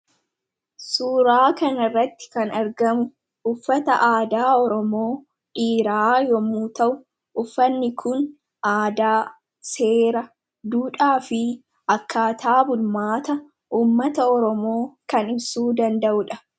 Suuraa kana irratti kan argamu uffata aadaa oromoo dhiiraa yammuu ta'u uffanni kun aadaa, seera, duudhaa fi akkaataa bulmaata ummata oromoo kan ibsuu danda'uudha.